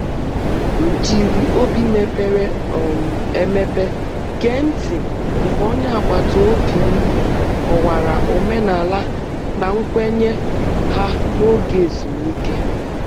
M jiri obi mepere um emepe gee ntị mgbe onye agbata obi m kọwara omenala na nkwenye ha n’oge ezumike.